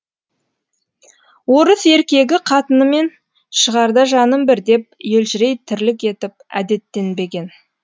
орыс еркегі қатынымен шығарда жаным бір деп елжірей тірлік етіп әдеттенбеген